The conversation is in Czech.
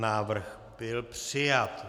Návrh byl přijat.